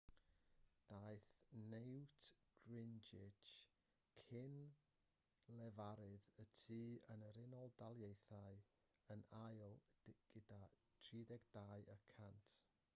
daeth newt gingrich cyn-lefarydd y tŷ yn yr unol daleithiau yn ail gyda 32 y cant